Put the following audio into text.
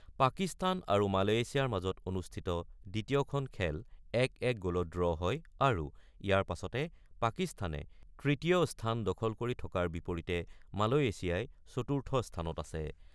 পাকিস্তান আৰু মালয়েছিয়াৰ মাজত অনুষ্ঠিত দ্বিতীয়খন খেল ১-১ গ'লত ড্ৰ হয় আৰু ইয়াৰ পাছতে পাকিস্তানে তৃতীয় স্থান দখল কৰি থকাৰ বিপৰীতে মালয়েছিয়া চতুৰ্থ স্থানত আছে।